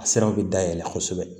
A siraw bɛ dayɛlɛ kosɛbɛ